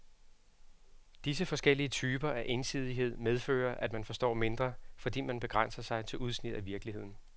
Disse forskellige typer af ensidighed medfører, at man forstår mindre, fordi man begrænser sig til udsnit af virkeligheden.